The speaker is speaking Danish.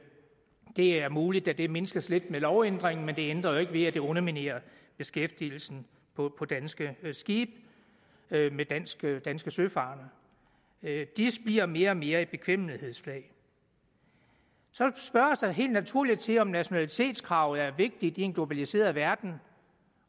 er muligt at det mindskes lidt med lovændringen men det ændrer jo ikke ved at det underminerer beskæftigelsen på danske skibe med danske danske søfarende dis bliver mere og mere et bekvemmelighedsflag så spørges der helt naturligt til om nationalitetskravet er vigtigt i en globaliseret verden